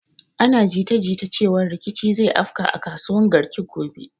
Ana jita jita cewan rikici zai afka a kasuwan garki gobe